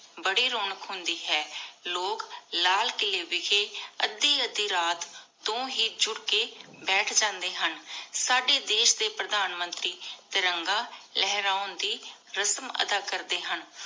ਬੜੀ ਰੌਣਕ ਹੁੰਦੀ ਹੈ ਲੋਗ ਲਾਲ ਕਿਲੇ ਵਿਖੇ ਅਧਿ ਅਧਿ ਰਾਤ ਤੋਂ ਹੀ ਜੁੜ ਕੇ ਬੈਠ ਜਾਂਦੇ ਹਨ। ਸਾਡੇ ਦੇਸ਼ ਦੇ ਪ੍ਰਧਾਨ ਮੰਤਰੀ ਤਿਰੰਗਾ ਲਹਰਾਉਣ ਦੀ ਰਸਮ ਅਦਾ ਕਰਦੇ ਹਨ।